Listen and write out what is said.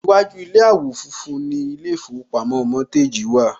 Iwájú ilé àwò fun fun ni ilé ìfowópamọ́ Mortgage wà